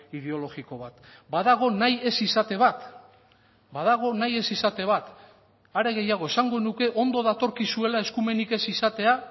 ideologiko bat badago nahi ez izate bat badago nahi ez izate bat are gehiago esango nuke ondo datorkizuela eskumenik ez izatea